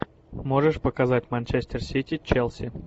можешь показать манчестер сити челси